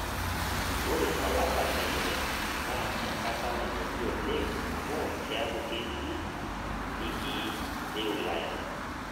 Ore olapa le ile naa enkata nanyori oleng' amu kiaku ketii ligii leulaya